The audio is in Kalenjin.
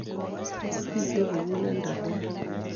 Bite muguleldo neya